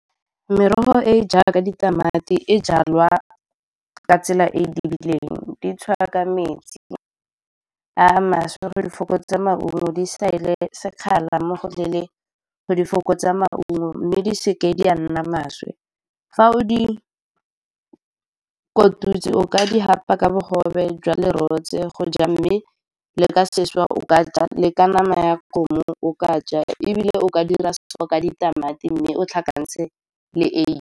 Merogo e e jaaka ditamati e jalwa ka tsela e dirileng, di tshwara ka metsi a maswe go di fokotsa maungo. Di sekgala mo go leele go di fokotsa maungo mme di seke di a nna maswe. Fa o di kotutse, o ka di hapa ka bogobe jwa lerotse go ja, mme le ka seswa o ka ja, le ka nama ya kgomo, o ka ja, ebile o ka dira ka ditamati mme o tlhakantshe le eiye.